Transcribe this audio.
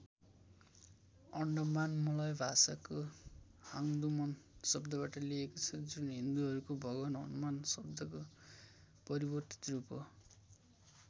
Andaman Malay भाषाको हांदुमन शब्दबाट लिईएको छ जुन हिन्दुहरूको भगवान हनुमान शब्दको परिवर्तित रूप हो।